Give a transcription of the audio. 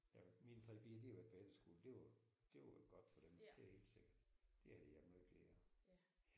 Ja mine 3 piger de har været på efterskole det var det var godt for dem det er helt sikkert. Det har de haft meget glæde af